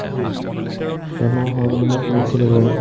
বেমাৰ হোৱা বুলি মই শুনিছিলো বাৰু